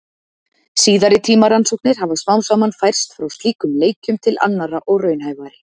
Síðari tíma rannsóknir hafa smám saman færst frá slíkum leikjum til annarra og raunhæfari.